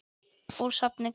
Úr safni GÓ.